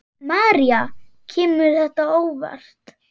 María: Kemur þetta á óvart?